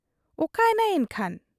ᱚᱠᱟᱭᱮᱱᱟᱭ ᱮᱱᱠᱷᱟᱱ ?